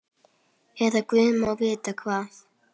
Eða guð má vita hvað.